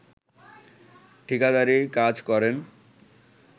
ঠিকাদারি কাজ করেন